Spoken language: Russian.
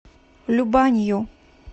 любанью